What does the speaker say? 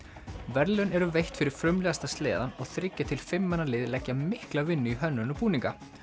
verðlaun eru veitt fyrir frumlegasta sleðann og þriggja til fimm manna lið leggja mikla vinnu í hönnun og búninga